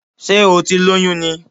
Sé o ti lóyún ni?